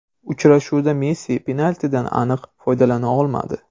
Uchrashuvda Messi penaltidan aniq foydalana olmadi.